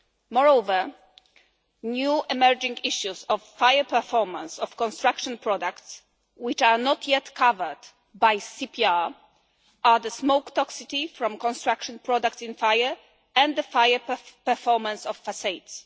Moreover, new emerging issues of the fire performance of construction products which are not yet covered by the CPR are the smoke toxicity from construction products in fire and the fire performance of facades.